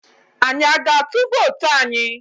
Anyi a ga-atụ vootu anyi?